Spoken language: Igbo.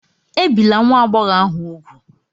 Ebìla nwa agbọghọ ahụ úgwù!